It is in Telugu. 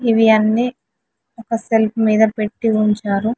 ఇవి అన్ని ఒక సెల్ఫ్ మీద పెట్టి ఉంచారు.